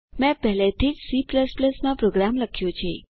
મેં પહેલેથી જ C માં પ્રોગ્રામ લખ્યો છે